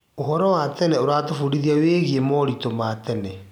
ũhoro wa tene ũratũbundithia wĩgiĩ moritũ ma tene.